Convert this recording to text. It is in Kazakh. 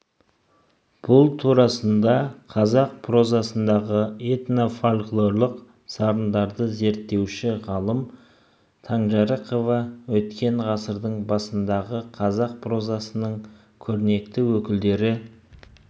бұл турасында қазақ прозасындағы этно-фольклорлық сарындарды зерттеуші ғалым таңжарықова өткен ғасырдың басындағы қазақ прозасының көрнекті өкілдері